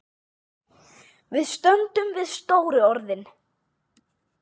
Við stöndum við stóru orðin.